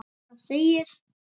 Um það segir